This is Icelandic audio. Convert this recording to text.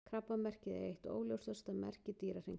Krabbamerkið er eitt óljósasta merki Dýrahringsins.